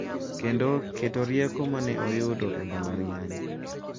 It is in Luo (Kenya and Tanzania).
Kendo keto rieko ma ne oyudo e mbalariany.